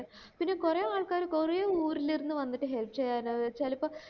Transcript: പിന്നെ കൊറേ ആൾക്കാര് കൊറേ ഊരില് ഇരുന്നു വന്നിട്ട് help ചെയ്യാനാ ചെലപ്പോ